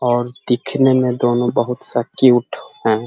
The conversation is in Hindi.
और दिखने में दोनों बहुत सा क्यूट है।